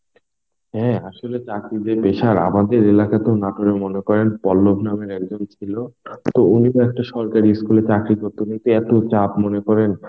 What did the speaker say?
হ্যাঁ আসলে চাকরির যে pressure আমাদের এলাকাতেও নাটোরে মনে করেন পল্লব নামের একজন ছিল, তো উনি তো একটা সরকারি school এ চাকরি করতো. এতে এত চাপ মনে করেন